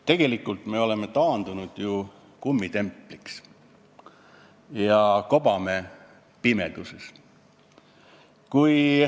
Tegelikult me oleme taandunud kummitempliks ja kobame pimeduses.